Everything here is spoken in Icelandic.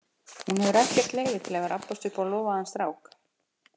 Hún hefur ekkert leyfi til að vera að abbast upp á lofaðan strák.